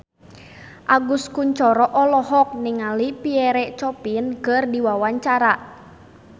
Agus Kuncoro olohok ningali Pierre Coffin keur diwawancara